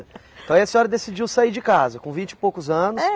Aí a senhora decidiu sair de casa, com vinte e poucos anos. É